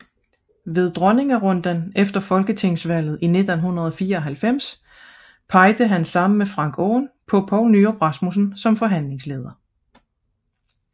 Ved dronningerunden efter folketingsvalget i 1994 pegede han sammen med Frank Aaen på Poul Nyrup Rasmussen som forhandlingsleder